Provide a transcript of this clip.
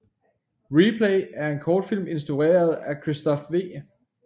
RePlay er en kortfilm instrueret af Christophe V